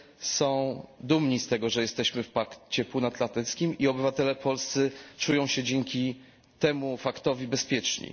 są dumni z tego, że jesteśmy w Pakcie Północnoatlantyckim, i obywatele polscy czują się dzięki temu faktowi bezpieczni.